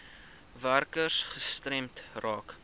werkers gestremd raak